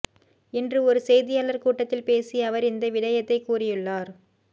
இன்று ஒரு செய்தியாளர் கூட்டத்தில் பேசிய அவர் இந்த விடயத்தை கூறியுள்ளார்